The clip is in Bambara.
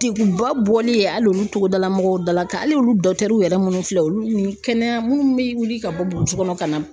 Deguba bɔli ye hali olu togodala mɔgɔw dala ka ali olu yɛrɛ munnu filɛ olu ni kɛnɛya munnu be wuli ka bɔ burusu kɔnɔ ka na.